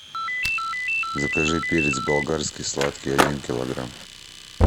закажи перец болгарский сладкий один килограмм